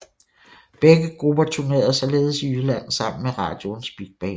Begge grupper turnerede således i Jylland sammen med Radioens Big Band